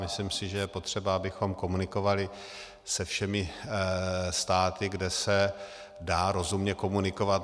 Myslím si, že je potřeba, abychom komunikovali se všemi státy, kde se dá rozumně komunikovat.